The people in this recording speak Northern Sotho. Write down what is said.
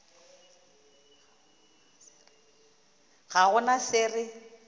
ga go na se re